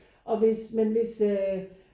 Og hvis men hvis øh